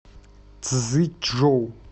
цзичжоу